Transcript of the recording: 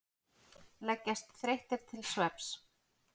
Leggjast þreyttir til svefns.